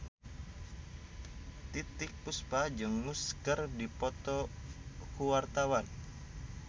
Titiek Puspa jeung Muse keur dipoto ku wartawan